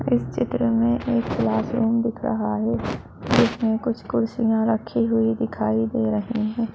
इस चित्र में एक क्लासरूम दिख रहा है जिसमें कुछ कुर्सियां रखी हुई दिखाई दे रहीं हैं।